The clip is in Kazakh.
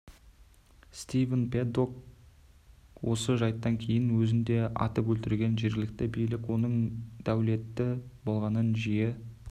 стивен пэддок осы жайттан кейін өзін де атып өлтірген жергілікті билік оның дәулетті болғанын жиі